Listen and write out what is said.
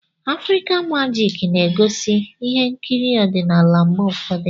Afrịka magik na-egosi ihe nkiri ọdịnala mgbe ụfọdụ.